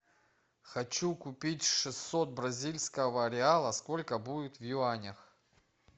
хочу купить шестьсот бразильского реала сколько будет в юанях